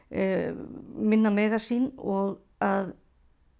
minna mega sín og að